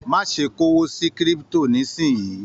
Má ṣe k'owó sí kírípútò nisinyi!